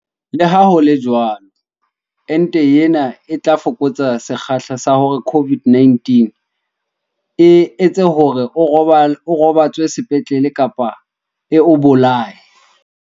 Leha ho le jwalo, ente ena yona e tla fokotsa sekgahla sa hore COVID-19 e etse hore o robatswe sepetlele kapa e o bolaye.